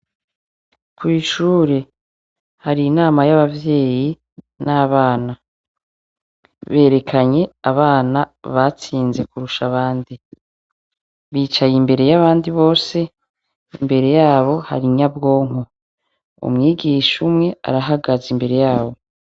Kw'ishure hari inama yabavyeyi nabana. Berekanye abana batsinze kurusha abandi bicaye imbere yabandi bose imbere yabo hari inyabwonko umwigisha umwe arahagaze imbere yabo.